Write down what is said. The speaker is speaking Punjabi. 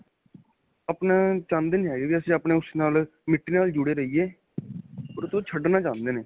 ਆਪਣਾ ਚਾਉਂਦੇ ਨਹੀਂ ਹੈਗੇ, ਵੀ ਅਸੀਂ ਆਪਣੇ ਓਸ ਨਾਲ ਮਿੱਟੀ ਨਾਲ ਜੁੜੇ ਰਹਿਏ 'ਤੋ ਛਡਨਾ ਚਾਹਦੇ ਨੇ.